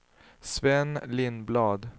Sven Lindblad